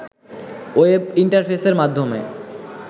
web ইন্টারফেসের মাধ্যমে